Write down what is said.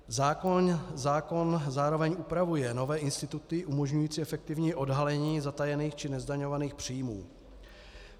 Zákon zároveň upravuje nové instituty umožňující efektivní odhalení zatajených či nezdaňovaných příjmů.